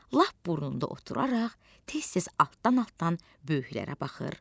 Lap burnunda oturaraq, tez-tez altdan-altdan böyüklərə baxır.